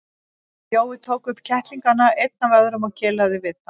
Jói tók upp kettlingana einn af öðrum og kelaði við þá.